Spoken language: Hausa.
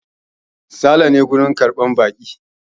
Sale na wurin karɓar baƙi.